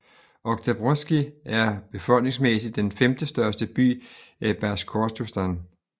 Oktjabrskij er befolningsmæssigt den femte største by i Basjkortostan